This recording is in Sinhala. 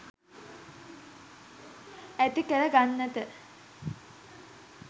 ඇතිකර ගන්නට.